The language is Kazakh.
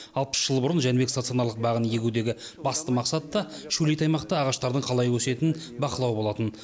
алпыс жыл бұрын жәнібек стационарлық бағын егудегі басты мақсат та шөлейт аймақта ағаштардың қалай өсетінін бақылау болатын